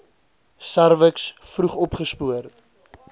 serviks vroeg opgespoor